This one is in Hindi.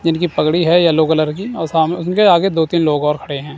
जिनकी पगड़ी है येलो कलर की और सामने उनके आगे दो तीन लोग और खड़े हैं।